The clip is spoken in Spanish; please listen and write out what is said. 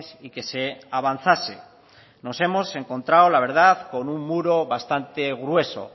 y que se avanzase nos hemos encontrado la verdad con un muro bastante grueso